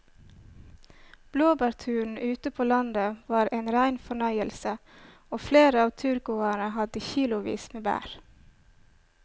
Blåbærturen ute på landet var en rein fornøyelse og flere av turgåerene hadde kilosvis med bær.